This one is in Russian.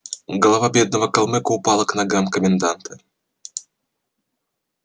голова бедного калмыка упала к ногам коменданта